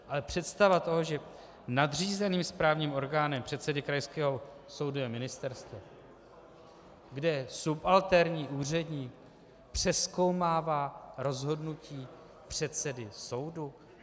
Ale představa toho, že nadřízeným správním orgánem předsedy krajského soudu je ministerstvo, kde subalterní úředník přezkoumává rozhodnutí předsedy soudu?